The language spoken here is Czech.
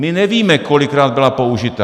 My nevíme, kolikrát byla použita.